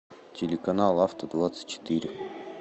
телеканал авто двадцать четыре